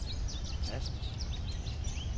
Assens